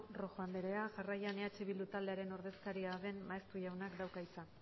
rojo anderea jarraian eh bildu taldearen ordezkaria den maeztu jaunak dauka hitza